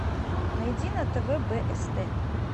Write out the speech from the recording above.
найди на тв бст